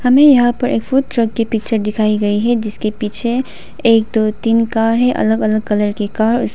हमें यहां पर एक फूड ट्रक की पिक्चर दिखाई गई है जिसके पीछे एक दो तीन कार है अलग अलग कलर की कार ।